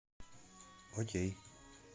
окей